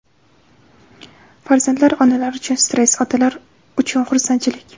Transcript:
Farzandlar: onalar uchun stress, otalar uchun xursandchilik.